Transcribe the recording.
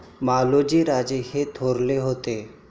मालोजीराजे हे थोरले होते.